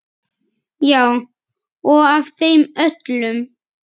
Já og af þeim öllum.